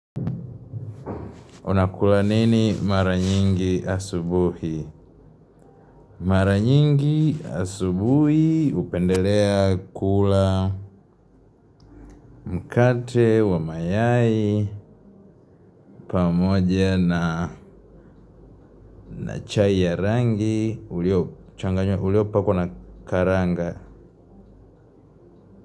Unakula nini mara nyingi asubuhi? Mara nyingi asubuhi hupendelea kula mkate wa mayai pamoja na chai ya rangi uliopakwa na karanga.